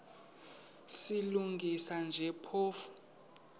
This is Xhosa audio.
silungisa nje phofu